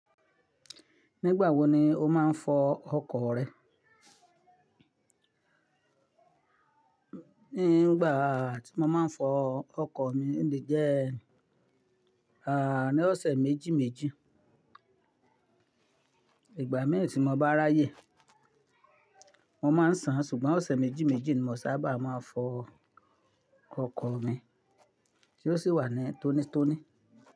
Nígbà wo ni o máa ń fọ ọkọ̀ rẹ? Ní ìgbà tí mo máa ń fọ ọkọ̀ mi ni jẹ́, à ní ọ̀sẹ̀ méjì méjì. Ìgbà mẹ́ tí mo bá ráyè, mo máa ń sàn ṣùgbọ́n ọ̀sẹ̀ méjì méjì ni mò sábà máa ń fọ ọkọ̀ mi tí ó sì wà ní tónítóní.